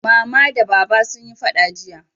Mama da Baba sun yi faɗa jiya